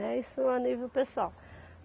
Né. Isso a nível pessoal.